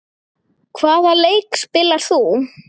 Hvaða leik spilar þú?